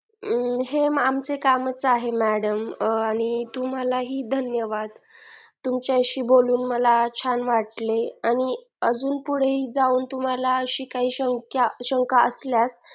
हे आमचे कामच आहे madam आणि तुम्हालाही धन्यवाद तुमच्याशी बोलून मला छान वाटले आणि अजून पुढे ही जाऊन तुम्हाला अशी काही शंका असल्यास